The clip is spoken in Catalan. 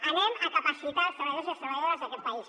anem a capacitar els treballadors i les treballadores d’aquest país